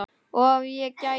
Og ef ég gæti.?